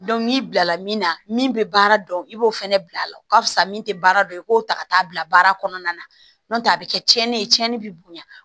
n'i bilala min na min bɛ baara dɔn i b'o fɛnɛ bila a la o ka fisa min tɛ baara dɔn i k'o ta ka t'a bila baara kɔnɔna na n'o tɛ a bɛ kɛ tiɲɛni ye tiɲɛni bi bonya